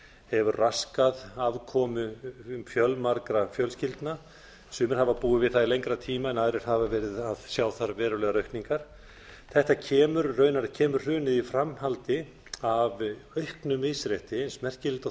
hefur raskað afkomu fjölmargra fjölskyldna sumir hafa búið við það í lengri tíma en aðrir hafa að sjá þar verulegar aukningar þarna kemur hrunið í framhaldi af auknu misrétti eins merkilegt og